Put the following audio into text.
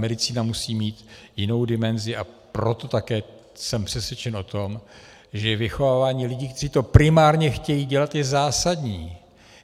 Medicína musí mít jinou dimenzi, a proto také jsem přesvědčen o tom, že vychovávání lidí, kteří to primárně chtějí dělat, je zásadní.